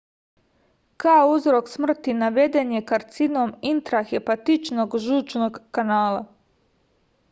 kao uzrok smrti naveden je karcinom intrahepatičnog žučnog kanala